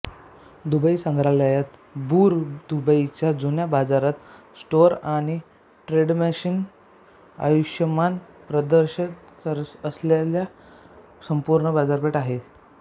Dubai संग्रहालयात Bur दुबईच्या जुन्या बाजारात स्टोअर आणि ट्रेडमॅनचे आयुष्यमान प्रदर्शन असलेली संपूर्ण बाजारपेठ आहे